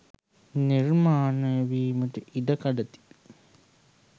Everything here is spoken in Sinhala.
නිර්මාණය වීමට ඉඩකඩ තිබේ